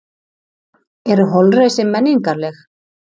Eru holræsi menningarleg?